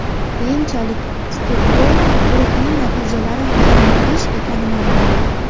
Keyinchalik, Stokgolm guruhining natijalari yanglish ekani ma’lum bo‘ldi.